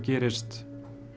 gerist